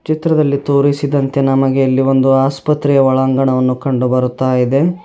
ಚಿತ್ರದಲ್ಲಿ ತೋರಿಸಿದಂತೆ ನಮಗೆ ಇಲ್ಲಿ ಒಂದು ಆಸ್ಪತ್ರೆಯ ಒಳಾಂಗಣವನ್ನು ಕಂಡು ಬರ್ತಾ ಇದೆ.